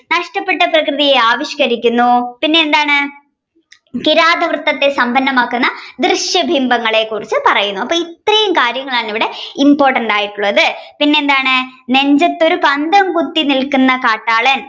നഷ്ടപ്പെട്ട പ്രകൃതിയെ ആവിഷ്കരിക്കുന്നു പിന്നെയെന്താണ് കിരാതവൃത്തത്തെ സമ്പന്നമാക്കുന്ന ദൃശ്യബിംബങ്ങളെ കുറിച് പറയുന്നു അപ്പോൾ ഇത്രയും കാര്യങ്ങളാണ് ഇവിടെ important ആയിട്ടുള്ളത് പിന്നെയെന്താണ് നെഞ്ചത്തൊരു പന്തം കുത്തി നിൽക്കുന്ന കാട്ടാളൻ